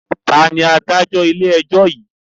Taàní Adájọ́ ilé ẹjọ́ yìí?